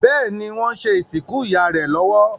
Béèni wón ṣe ìsìnkú ìyá rẹ lówó.